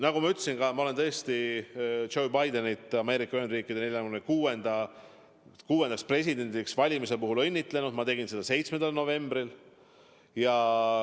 Nagu ma ütlesin, ma olen tõesti Joe Bidenit Ameerika Ühendriikide 46. presidendiks valimise puhul õnnitlenud, ma tegin seda 7. novembril.